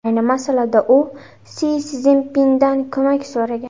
Ayni masalada u Si Szinpindan ko‘mak so‘ragan.